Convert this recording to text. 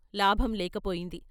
లాభం లేక పోయింది.